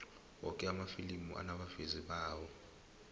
woke amafilimi anabavezi bawo